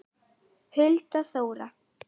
Hulda Þóra.